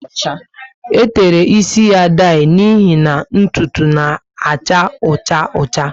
E tere ísì ya daii, n'ihi na ntụtụ na acha ọcha ocha